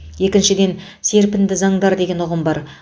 екіншіден серпінді заңдар деген ұғым бар